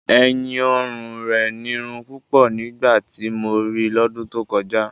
ẹ̀yìn-ọrùn rẹ̀ nírun púpọ̀ nígbà tí mo rí i lọ́dún tó kọjá.